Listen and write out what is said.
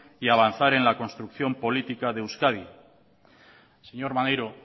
y avanzar en la construcción política de euskadi señor maneiro